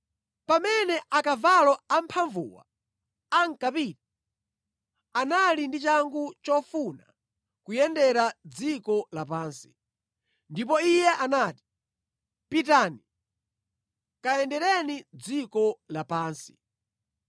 Pamene akavalo amphamvuwa ankapita, anali ndi changu chofuna kuyendera dziko lapansi. Ndipo iye anati, “Pitani, kayendereni dziko lapansi!”